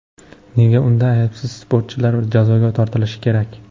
Nega unda aybsiz sportchilar jazoga tortilishi kerak?